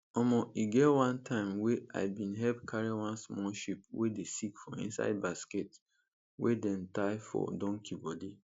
omo e get one time wey i bin help carry one small sheep wey dey sick for inside basket wey dem tie for donkey body